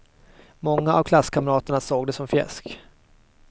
Många av klasskamraterna såg det som fjäsk.